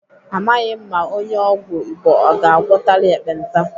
Amaghị m ma onye ọgwụ Igbo ọ ga-agwọtali ekpenta.